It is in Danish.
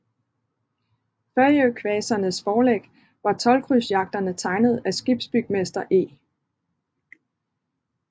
Fejøkvasernes forlæg var toldkrydsjagterne tegnet af skibsbygmester E